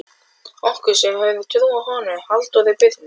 Okkur, sem höfðum trú á honum Halldóri Birni